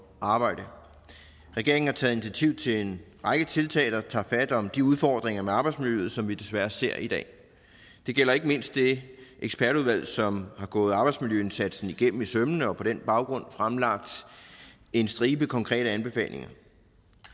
arbejde regeringen har taget initiativ til en række tiltag der tager fat om de udfordringer med arbejdsmiljøet som vi desværre ser i dag det gælder ikke mindst det ekspertudvalg som har gået arbejdsmiljøindsatsen igennem i sømmene og på den baggrund fremlagt en stribe konkrete anbefalinger